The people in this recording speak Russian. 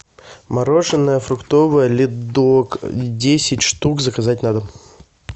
мороженое фруктовое ледок десять штук заказать на дом